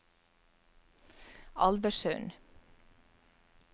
Alversund